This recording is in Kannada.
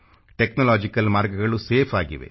ಟೆಕ್ನಾಲಾಜಿಕಲ್ ಮಾರ್ಗಗಳು ಸೇಫ್ ಆಗಿವೆ